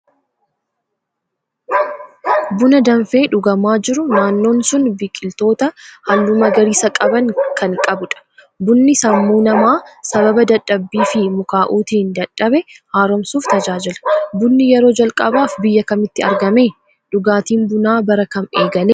Buna danfee dhugamaa jiru, naannoon sun biqiltoota halluu magariisa qaban kan qabudha. Bunni sammuu namaa sababa dadhabbii fi mukaa'uutiin dadhabe haaromsuuf tajaajila. Bunni yeroo jalqabaaf biyya kamitti argame? dhugaatiin bunaa bara kam eegale?